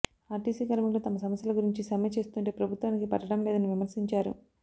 RTC కార్మికులు తమ సమస్యల గురించి సమ్మె చేస్తుంటే ప్రభుత్వానికి పట్టడం లేదని విమర్శించారు